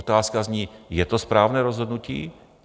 Otázka zní - je to správné rozhodnutí?